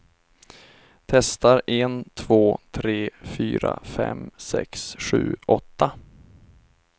Testar en två tre fyra fem sex sju åtta.